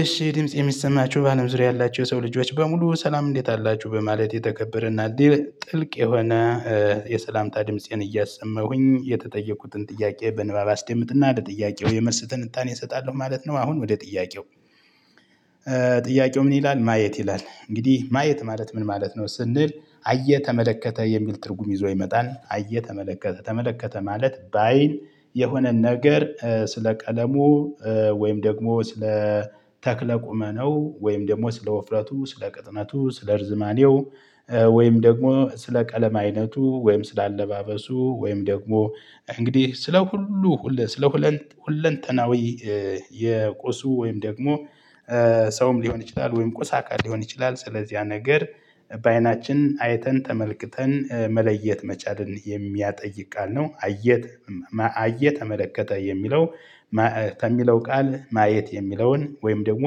እሺ ድምጽ የሚሰማችሁ በአለም ዙሪያ ያላችሁ የሰው ልጆች በሙሉ ሰላም እንዴት አላችሁ በማለት የተከበረና ጥልቅ የሆነ የሰላምታ ድምፄን እያሰማሁኝ የተጠየኩትን ጥያቄ በንባብ አስደምጥና ለጥያቄው የመልስ ትንታኔ እሰጣለሁ ማለት ነው። አሁን ወደ ጥያቄው። ጥያቄው ምን ይላል ''ማየት'' ይላል፤ እንግዲህ ማየት ማለት ምን ማለት ነው? ስንል አየ፣ ተመለከተ የሚል ትርጉም ይዞ ይመጣል፤ አየ ተመለከተ። ተመለከተ ማለት በአይን የሆነን ነገር ስለ ቀለሙ ወይም ደግሞ ስለ ተክለ ቁመናው ወይም ደግሞ ስለ ውፍረቱ፣ ስለ ቅጥነቱ፣ ስለ እርዝማኔው ወይም ደግሞ ስለ ቀለም አይነቱ፤ ወይም ስለ አለባበሱ፤ ወይም ደግሞ እንግዲህ ስለ ሁሉ ስለ ሁለንተናዊ የቁሱ ወይም ደግሞ ሰውም ሊሆን ይችላል ወይም ቁስ አካል ሊሆን ይችላል ስለዚህ ያ ነገር በአይናችን አይተን፣ ተመልክተን መለየት መቻልን የሚያጠይቅ ቃል ነው። አየት አየ፣ ተመለከተ የሚለው ከሚለው ቃል ማየት የሚለውን ወይም ደግሞ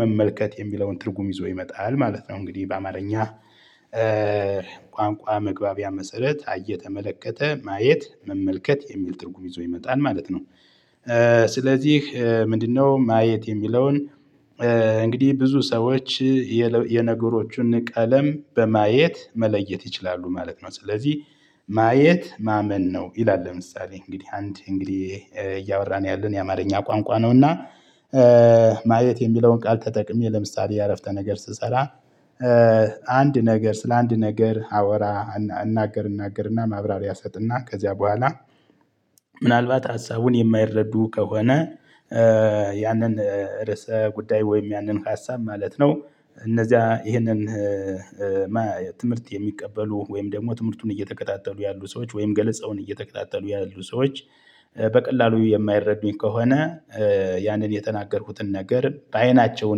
መመልከት የሚለውን ትርጉም ይዞ ይመጣል ማለት ነው እንግዲህ በአማርኛ። ቋንቋ መግባቢያ መሰረት አየ፣ ተመለከተ፤ ማየት፣ መመልከት የሚል ትርጉም ይዞ ይመጣል ማለት ነው። ስለዚህ ምንድነው ማየት የሚለውን እንግዲህ ብዙ ሰዎች የነገሮቹን ቀለም በማየት መለየት ይችላሉ ማለት ነው። ስለዚህ ''ማየት ማመን ነው'' ይላል ለምሳሌ እንግዲህ አንድ እንግዲህ እያወራን ያለን የአማርኛ ቋንቋ ነው እና ማየት የሚለውን ቃል ተጠቅሜ ለምሳሌ የአረፍተ ነገር ስሰራ፤ አንድ ነገር ስለ አንድ ነገር አወራ እናገር እናገርና ማብራሪያ ሰጥና ከዚያ በኋላ ምናልባት ሀሳቡን የማይረዱ ከሆነ፤ ያንን ርዕሰ ጉዳይ ወይም ያንን ሀሳብ ማለት ነው እነዚያ ይህንን ትምህርት የሚቀበሉ ወይም ደግሞ ትምህርቱን እየተከታተሉ ያሉ ሰዎች ወይም ገለጻውን እየተከታተሉ ያሉ ሰዎች በቀላሉ የማይረዱኝ ከሆነ ያንን የተናገርኩትን ነገር በአይናቸው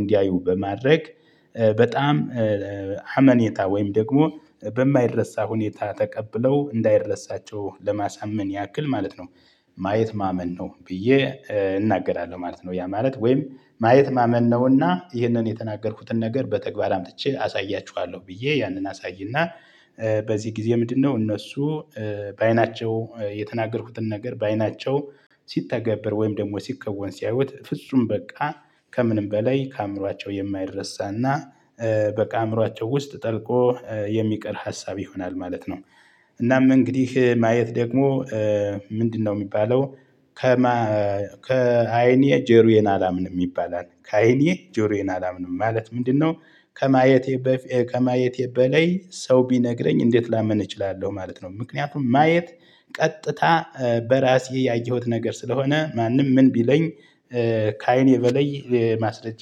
እንዲያዩ በማድረግ በጣም አመኔታ ወይም ደግሞ በማይረሳ ሁኔታ ተቀብለው እንዳይረሳቸው ለማሳመን ያክል ማለት ነው ማየት ማመን ነው ብዬ እናገራለሁ ማለት ነው። ያ ማለት ወይም ማየት ማመን ነውና ይህንን የተናገርኩትን ነገር በተግባር አምጥቼ አሳያችኋለሁ ብዬ ያንን አሳይና በዚህ ጊዜ ምንድነው እነሱ በአይናቸው የተናገርኩትን ነገር በአይናቸው ሲተገብር ወይም ደግሞ ሲከወን ሲያዩት ፍጹም በቃ ከምንም በላይ ከአእምሯቸው የማይረሳና በቃ አእምሮአቸው ውስጥ ጠልቆ የሚቀር ሀሳብ ይሆናል ማለት ነው። እናም እንግዲህ ማየት ደግሞ ምንድነው ሚባለው ከማ ''ከዓይኔ ጆሮዬን አላምንም'' ይባላል። ከአይኔ ጆሮዬን አላምንም ማለት ምንድነው? ከማየቴ ከማየቴ በላይ ሰው ቢነግረኝ እንዴት ላምን እችላለሁ ማለት ነው። ምክንያቱም ማየት ቀጥታ በራሴ ያየሁት ነገር ስለሆነ ማንም ምን ቢለኝ ከዓይኔ በለይ ማስለጃ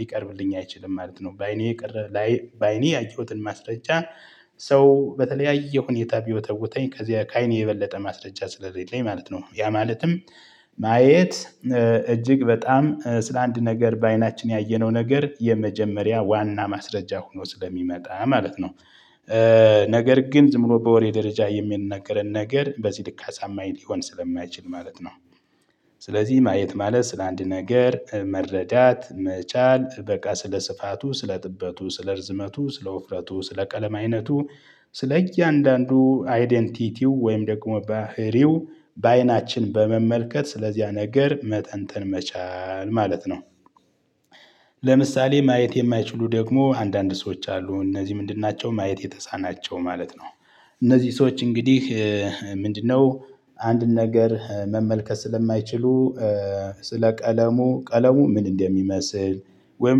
ሊቀርብልኝ አይችልም ማለት ነው። በአይኔ በአይኔ ያየሁትን ማስረጃ ሰው በተለያየ ሁኔታ ቢወተውተኝ ከዚያ ከአይኔ የበለጠ ማስረጃ ስለሌለኝ ማለት ነው። ያ ማለትም ማየት እጅግ በጣም ስለአንድ ነገር በአይናችን ያየነው ነገር የመጀመሪያ ዋና ማስረጃ ሆኖ ስለሚመጣ ማለት ነው። ነገር ግን ዝም ብሎ በወሬ ደረጃ የሚናገረን ነገር በዚህ ልክ አሳማኝ ሊሆን ስለማይችል ማለት ነው ስለዚህ ማየት ማለት ስለአንድ ነገር መረዳት መቻል በቃ ስለ ስፋቱ፣ ስለ ጥበቱ፣ ስለ እርዝመቱ፣ ስለ ውፍረቱ፣ ስለ ቀለም አይነቱ ስለ እያንዳንዱ አይደንቲቲው ወይም ደግሞ ባህሪው በአይናችን በመመልከት ስለዚያ ነገር መተንተን መቻል ማለት ነው። ለምሳሌ ማየት የማይችሉ ደግሞ አንዳንድ ሰዎች አሉ እነዚህ ምንድን ናቸው ማየት የተሳናቸው ማለት ነው። እነዚህ ሰዎች እንግዲህ ምንድነው አንድን ነገር መመልከት ስለማይችሉ ስለ ቀለሙ፤ ቀለሙ ምን እንደሚመስል ወይም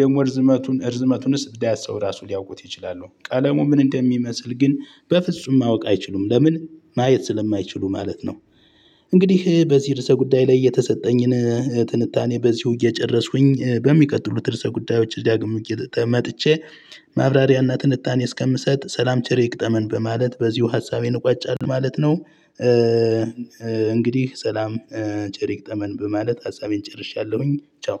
ደግሞ እርዝመቱን እርዝመቱንስ እንዳያሰው ራሱ ሊያውቁት ይችላሉ ቀለሙ ምን እንደሚመስል ግን በፍጹም ማወቅ አይችሉም ለምን ማየት ስለማይችሉ ማለት ነው። እንግዲህ በዚህ ርዕሰ ጉዳይ ላይ የተሰጠኝን ትንታኔ በዚሁ እየጨረስኩኝ በሚቀጥሉት ርዕሰ ጉዳዮች ዳግም መጥቼ ማብራሪያና ትንታኔ እስከምሰጥ ሰላም ቸር ይገጠመን በማለት በዚሁ ሀሳቤን እቋጫለሁ ማለት ነው። እንግዲህ ሰላም ቸር ይግጠመን በማለት ሀሳቤን ጨርሻለሁኝ ቻው።